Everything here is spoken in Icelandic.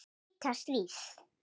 hvíta stríð.